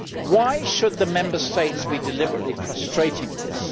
Why should the Member States be deliberately frustrating this?